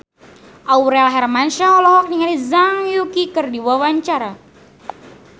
Aurel Hermansyah olohok ningali Zhang Yuqi keur diwawancara